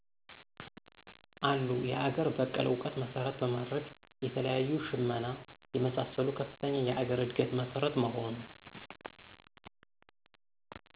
አሉ የአገር በቀል እዉቀት መሰረት በማድረግ የተለያዬ ሽመና የመሳሰሉ ከፍተኛ የአገር እድገት መሰረት መሆኑ።